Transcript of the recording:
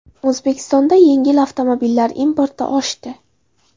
O‘zbekistonda yengil avtomobillar importi oshdi.